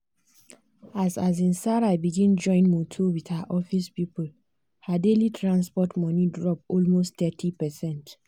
as um sarah begin join motor with her office people her daily transport money drop almost thirty percent percent.